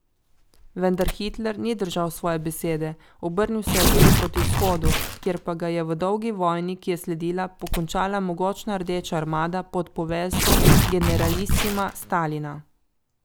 Vendar Hitler ni držal svoje besede, obrnil se je tudi proti vzhodu, kjer pa ga je v dolgi vojni, ki je sledila, pokončala mogočna Rdeča armada pod poveljstvom generalisima Stalina!